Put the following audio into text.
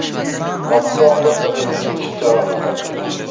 Hodisa oqibatida bir necha kishi jarohat olgan.